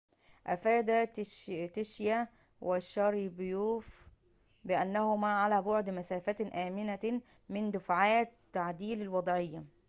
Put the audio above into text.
أفاد تشياو وشاريبوف بأنهما على بعد مسافةٍ آمنةٍ من دافعات تعديل الوضعية